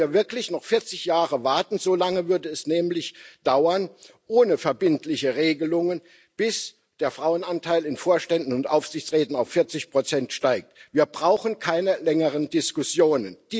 Wollen wir wirklich noch 40 Jahre warten? So lange würde es nämlich ohne verbindliche Regelungen dauern, bis der Frauenanteil in Vorständen und Aufsichtsräten auf 40 steigt. Wir brauchen keine längeren Diskussionen.